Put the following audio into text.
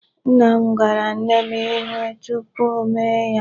Nna m gwara nne m ihe tupu o mee ya.